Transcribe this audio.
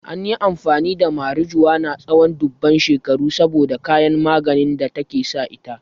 An yi amfani da marijuana tsawon dubban shekaru saboda kayan maganin da take sa ita.